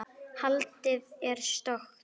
Holdið er stökkt.